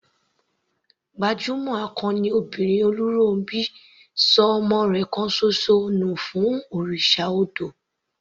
Gbajúmọ̀ akọni obìnrin Oluronbi ṣọ ọmọ rẹ̀ kan ṣoṣo nù fún òrìṣà odò.